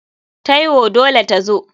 Taiwo dole tazo.